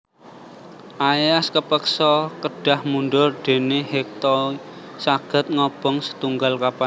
Aias kepeksa kedah mundhur déné Hektoe saged ngobong setunggal kapan